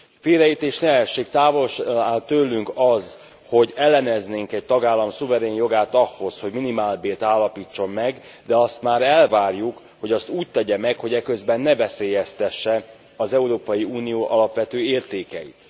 Félreértés ne essék, távol áll tőlünk az, hogy elleneznénk egy tagállam szuverén jogát ahhoz, hogy minimálbért állapítson meg, de azt már elvárjuk, hogy azt úgy tegye meg, hogy eközben ne veszélyeztesse az Európai Unió alapvető értékeit.